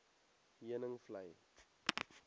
heuningvlei